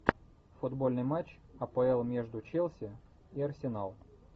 футбольный матч апл между челси и арсенал